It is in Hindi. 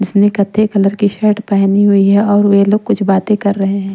जिसने कत्थई कलर की शर्ट पहनी हुई है और वे लोग कुछ बातें कर रहे हैं।